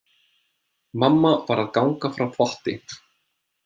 Mamma var að ganga frá þvotti.